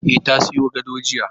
E, ta zoyo gado jiya